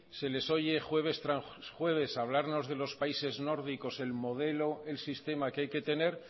se les oye jueves tras jueves hablarnos de los países nórdicos el modelo el sistema que hay que tener